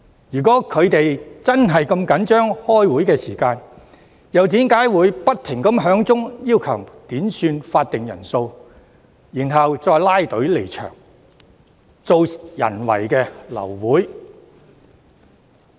如果他們真的如此着緊開會時間，又為何不斷要求點算法定人數，然後拉隊離場，製造人為流會？